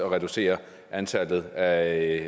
at reducere antallet af